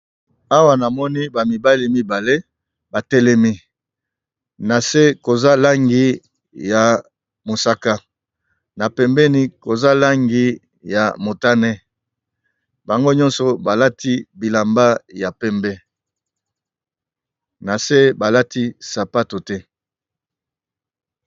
Awa namoni ba mibale mibale batelemi, na se koza langi ya mosaka na pembeni koza langi ya motane, bango nyonso balati bilamba ya pembe na se balati sapato te.